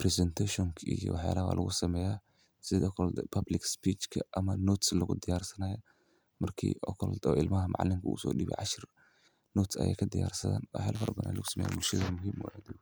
presentation ki iyo waxaa lagaa lagu sameeyaa sidaakoo public speech ka ama notes lagu diyaar sannaya markii okoolta ilmaha macallin kuugu soo dhibicasho. Notes ayay ka diyaarsadaan? Waa helfar banaan lagu sameeyay bulshada muhiim u ah.